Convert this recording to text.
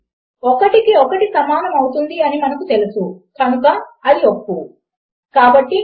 and operator యొక్క execute కావాలి అని అంటే దాని రెండు ఆపరాండ్ ల అవుట్ పుట్ కూడా ఒప్పు అవ్వవలసి ఉంటుంది